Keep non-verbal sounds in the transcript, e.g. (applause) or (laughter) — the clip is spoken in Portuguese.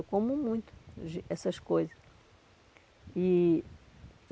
Eu como muito (unintelligible) essas coisas. E